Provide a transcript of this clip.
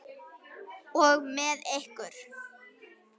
Og með ykkur!